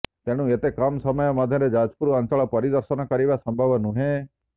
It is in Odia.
ତେଣୁ ଏତେ କମ୍ ସମୟ ମଧ୍ୟରେ ଯାଜପୁର ଅଞ୍ଚଳ ପରିଦର୍ଶନ କରିବା ସମ୍ଭବ ନୁହେଁ